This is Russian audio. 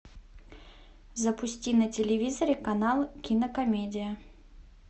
запусти на телевизоре канал кинокомедия